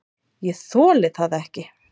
"""Ég þoli það ekki,"""